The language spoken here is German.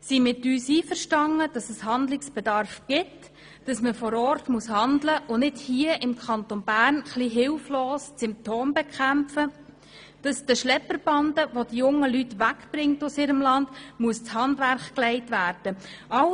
sind mit uns einverstanden, dass Handlungsbedarf besteht, dass man vor Ort handeln muss, anstatt hier im Kanton etwas hilflos die Symptome zu bekämpfen, dass den Schlepperbanden, welche die jungen Leute aus ihrem Land wegbringen, das Handwerk gelegt werden muss.